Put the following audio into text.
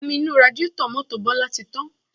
Omi inú radiátọ̀ mọ́tò Bọlá ti tán